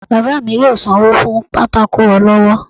baba mí yóò sanwo fún pàtàkó olọwọ